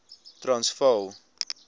transvaal